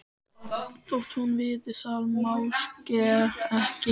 Þótt hún viti það máske ekki.